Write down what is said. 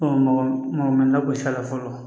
mɔgɔ mɔgɔ ma lagosi a la fɔlɔ